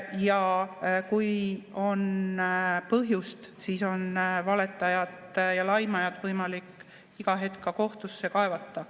Ja kui on põhjust, siis on valetajat ja laimajat võimalik iga hetk kohtusse kaevata.